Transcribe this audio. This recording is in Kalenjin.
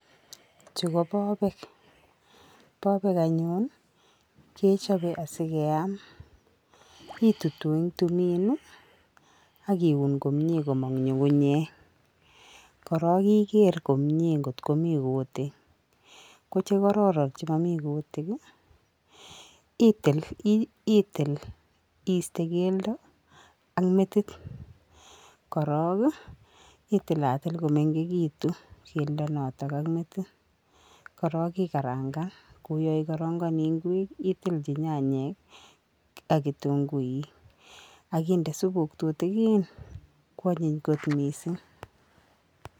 Chu ko bobek , bobek anyun kechobe asi keam, kitutu ing tumin ii, ak iun komye komong nyungunyek, korook iker komie ngot komi kuutik , ko che kororon che momi kuutik ii, itil iiste keldo ak metit, korook itilatil ko mengekitu keldo noto ak metit, korook ikarangan ko yo ikorongoni ngwek itilji nyanyek ak kitunguik ak inde supuk tutikiin, kwanyiny kot mising.